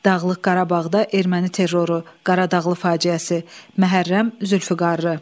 Dağlıq Qarabağda erməni terroru, Qaradağlı faciəsi, Məhərrəm Zülfüqarlı.